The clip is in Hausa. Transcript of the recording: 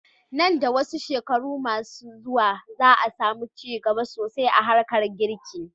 Nan da wasu shekaru ma su zuwa, za a samu ci gaba sosai a harkar girki.